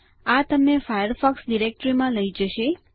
આ તમને ફાયરફોક્સ ડિરેક્ટરીમાં લઈ જશે